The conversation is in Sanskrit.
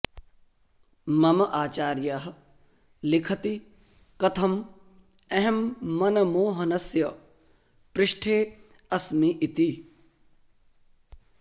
मम आचार्यः लिखति कथम् अहं मनमोहनस्य पृष्ठे अस्मि इति